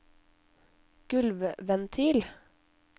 gulvventil